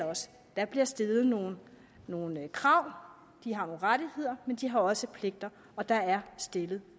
der bliver stillet nogle nogle krav de har nogle rettigheder men de har også pligter og der er stillet